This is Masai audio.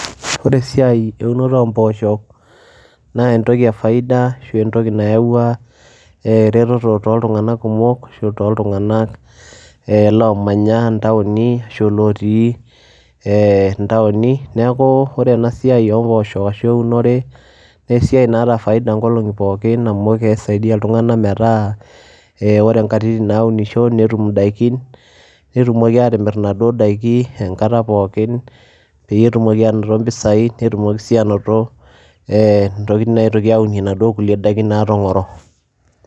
ore esiai eunoto oo mpoosho naa entoki efaida ashu entoki naaua eretotot tooltunganak kumok. ashu toooltunganak omanya intaoni, ashu ilootii intaoni. neku ore ena siai oo mpoosho ashu eunore naa esiai naata faida, nkolongi pokin amu kisaidia iltunganak metaa ee ore nkatitin naisho netum idaikin. netumoki aatimir kuna dikin enkata pookin. peyie etumoki aanoto mpisai, netumoki sii aanoto.ee intokitin natoki aunie inaduoo daikin naatongoro.